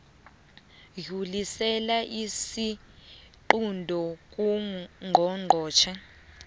dlulisela isiqunto kungqongqotjhe